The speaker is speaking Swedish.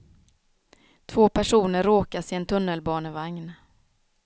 Två personer råkas i en tunnelbanevagn.